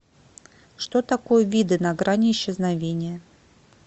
что такое виды на грани исчезновения